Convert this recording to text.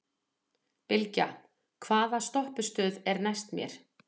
Bylgja, hvaða stoppistöð er næst mér?